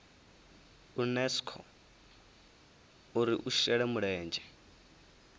unesco uri i shele mulenzhe